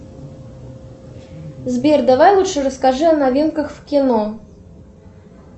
сбер давай лучше расскажи о новинках в кино